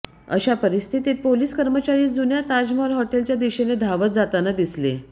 अशा परिस्थितीत पोलीस कर्मचारी जुन्या ताजमहाल हॉटेलच्या दिशेने धावत जाताना दिसले